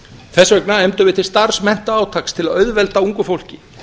þess vegna efndum við til starfsmenntaátaks til að auðvelda ungu fólki